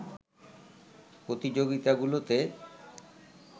প্রতিযোগিতাগুলোতে